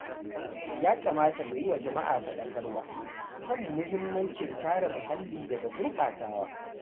Ya kamata mu yi wa jama’a faɗakarwa kan muhimmancin kare muhalli daga gurbatawa.